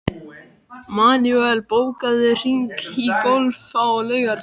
Manuel, bókaðu hring í golf á laugardaginn.